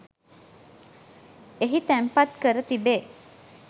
එහි තැන්පත් කර තිබේ.